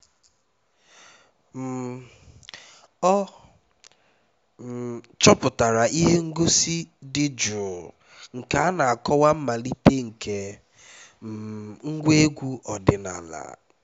um ọ um chọtara ihe ngosi dị jụụ nke na-akọwa mmalite nke um ngwa egwu ọdịnala